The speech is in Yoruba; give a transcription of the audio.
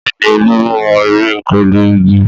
Bẹ́ẹ̀ ni, Olú mo ère pẹ̀lú igi.